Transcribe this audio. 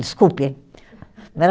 Desculpe